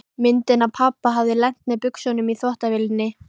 Myndin af pabba hafði lent með buxunum í þvottavélinni.